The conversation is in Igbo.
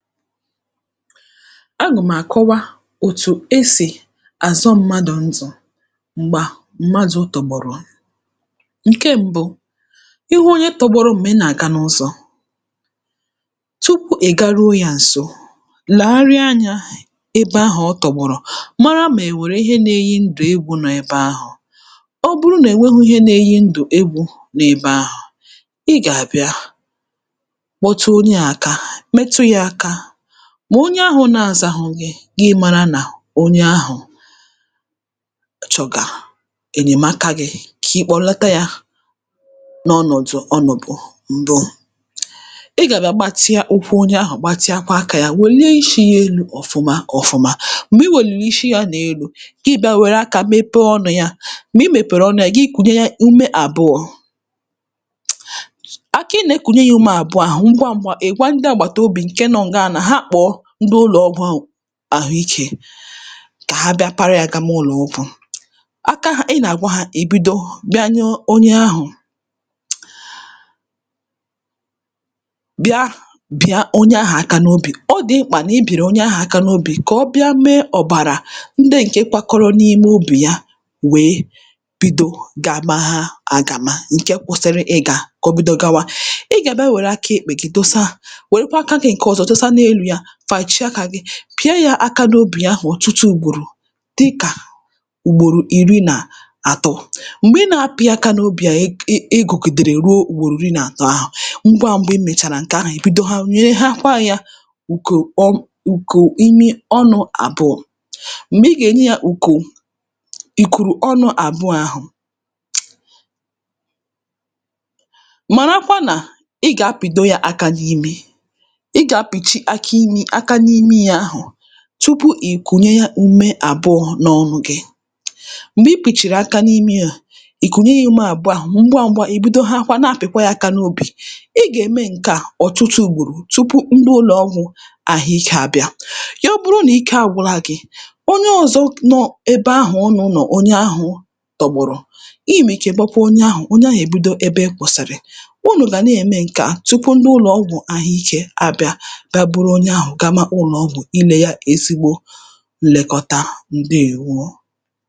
agụ̀ m̀ àkọwa òtù e sì àzọ mmadụ̀ ndụ̀ m̀gbà mmadụ̄ tọ̀gbọ̀rọ̀ ṅ̀ke mbụ ị hụ onye tọ̄gbọ̄rọ̄ m̀gbè ị nà-àga n‘ụzọ̀ tupu ị̀ garuo yā ǹso làgharịa anyā ebe ahụ̀ ọ tọ̀gbòrọ̀ mara mà è nwèrè ihe na-eyi ndụ̀ egwù nọ ebe ahụ̀ ọ bụrụ nà è nwehī ihe na-eyi ndụ̀ egwù n’ebe ahụ̀ ị gà-àbịa kpọtụ onye à aka metụ yā ākā mà onye ahụ̀ na-zahụ gị gị mārā nà onye ahụ̀ ọ chọ̀gà ènyèmaka gị̄ kà ị̀ kpọ̀lata yā n’ọnọ̀dụ̀ ọ nọ̀bù m̀bụ ị gà-àbịa gbatịa ụkwụ onye ahụ̀ gbatịakwa aka ya wèllie ishī yā elū ọ̀fụma ọ̄fụ̄mā, m̀gbè i wèlirì ishi yā nà elū gị bịā wère akā mepee ọnụ̄ yā m̀gbè i mèpèrè ọnụ yā gị kùnye yā ume àbụọ̄ aka ị nà-ekùnye yā ume àbụọ̄ ahụ̀ ṅgwa ṅ̄gwā ị̀ gwa ndị àgbàtàobì nọ ebe ahụ̀ nà ha kpọ̀ọ ndị ụlọ̀ọgwụ hụ àhụikē kà ha bịa para ya gama ụlọ̀ọgwụ̀ aka ị nà-àgwa ha ì bido bịa nye onye ahụ̀ breath bia bị̀a onye ahà aka n‘obì ọ dị̀ mkpà nà i bìrì onye ahà aka n’obì kà ọ bịa mee ọ̀bàrà nde ṅ̀ke kpakọrọ n‘ime obì ya wèe bido gamaha àgàma ṅ̀ke kwụ̄sị̄rị̄ ịgā kà o bido gawa, ị gà-àbịa wère aka èkpè gị dosa wèrekwa aka gị̣̄ ṅ̀ke ọzọ dosa n’elū yā fàchie akā gị̄ pị̀a yɑ̄ aka n’obì ya ahụ̀ ọtuṭụ ùgbòrò dikà ùgbòrò iri nà àt̩ọ m̀gbè ị nà api yā aka n’obi a ị gụ̀gidèrè ruo ugbòrò iri nà àtọ ahụ ṅgwa ṅ̄gwā i mèchàrà ṅ̀kè ahà ì bidoha nyehakwa yā ùkò ọ ùkò imi ọnụ̄ àbụọ̄ m̀gbè ị gà-ènye yā ùkò ìkùrù ọnụ̄ àbụọ̄ ahụ̀ màrakwa nà ị gà-apìdo yā aka n’imi ị gà-apìchi aka imī aka n’imi yā ahụ̣̀ tupu ì kùnye ume àbụọ̄ n’ọnụ̄ gị̄ m̀gbè i pìchìrì aka n’imi à i kunye yā ume àbụọ̄ ahà ṅgwa ṅ̄gwā ì bidohakwa na-apị̀kwa yā aka n‘obì ị gà-ème ṅke a ọtụtụ ùgbòrò tupu ndị ụlọ̀ọgwụ̀ àhụikē abịa ya bụrụ nà ike agwụla gị̄ onye ọzọ nọ ebe ahụ̀ unū nọ̀ onye ahụ̄ tọ̀gbọ̀rọ̀ ime chèbekwe onye ahụ̀ onye ahụ̀ ebido ebe ị kwụ̀sị̀rị̀ unù gà-na ème ṅ̀ke a tupu ndi ụlọ̀ọgwụ̄ ahụikē abịa bịa buru onye ahụ̀ gama ụlọ̀ọgwụ̀ ilē yā ezigbo nlekọta. ǹdeèwo